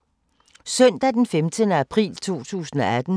Søndag d. 15. april 2018